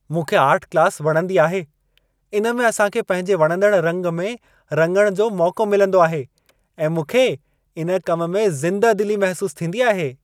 मूंखे art class वणंदी आहे। इनमें असां खे पंहिंजे वणंदड़ रंग में रङण जो मौक़ो मिलंदो आहे ऐं मूंखे, इन कम में ज़िदह-दिली महसूसु थींदी आहे।